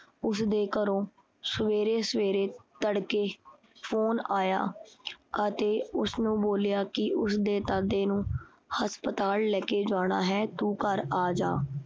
ਉਸਦੇ ਘਰੋਂ ਸਵੇਰੇ-ਸਵੇਰੇ ਤੜਕੇ ਫੋਨ ਆਇਆ ਅਤੇ ਉਸਨੂੰ ਬੋਲਿਆ ਕੀ ਉਸਦੇ ਦਾਦੇ ਨੂੰ ਹਸਪਤਾਲ ਲੈ ਕੇ ਜਾਣਾ ਹੈ ਤੂੰ ਘਰ ਆਜਾ